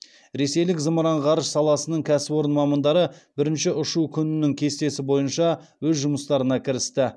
ресейлік зымыран ғарыш саласының кәсіпорын мамандары бірінші ұшу күнінің кестесі бойынша өз жұмыстарына кірісті